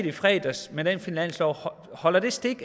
i fredags med den finanslov holder stik